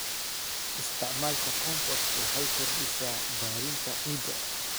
Isticmaalka compost waxay kordhisaa bacrinta ciidda.